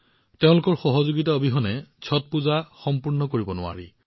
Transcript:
তেওঁলোকৰ সহযোগিতা অবিহনে ছটৰ উপাসনা সম্পূৰ্ণ কৰিব নোৱাৰি